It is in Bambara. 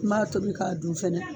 Maa tobi k'a du fɛnɛ.